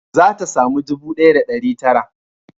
Za ta samu ɗubu ɗaya da ɗari tara